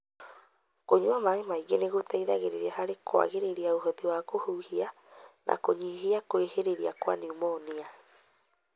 Kũnyua maĩ maingĩ nĩgũteithagia harĩ kwagĩria ũhoti wa kũhuhia na kũnyihia kwĩhĩrĩra kwa pneumonia.